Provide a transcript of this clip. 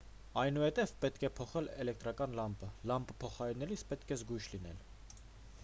այնուհետև պետք է փոխել էլեկտրական լամպը լամպը փոխարինելիս պետք է զգույշ լինել